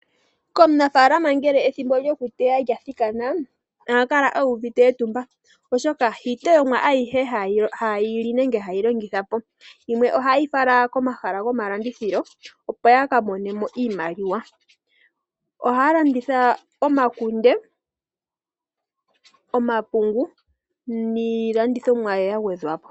Komunafaalama ngele ethimbo lyokuteya lya thikana aantu oha kala uvite etumba oshoka hayi teyomwa ayihe haye yili nenge haye yi longitha po yimwe ohaye yi fala komahala go malandithilo opo ya kamonemo iimaliwa. Ohaya landitha omakunde, omapungu niilandithomwa ya gwedhwa po